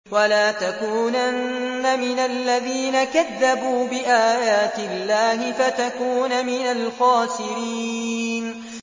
وَلَا تَكُونَنَّ مِنَ الَّذِينَ كَذَّبُوا بِآيَاتِ اللَّهِ فَتَكُونَ مِنَ الْخَاسِرِينَ